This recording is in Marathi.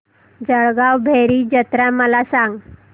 जळगाव भैरी जत्रा मला सांग